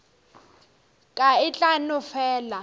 ka e tla no fela